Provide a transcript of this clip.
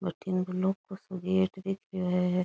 बठीने वो लोहे काे गेट सो दिख रियो है।